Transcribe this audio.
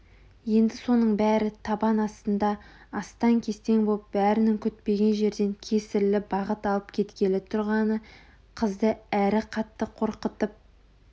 енді соның бәрі табан астында астаң-кестең боп бәрінің күтпеген жерден кесірлі бағыт алып кеткелі тұрғаны қызды әрі қатты қорқытып